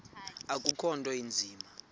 akukho nto inzima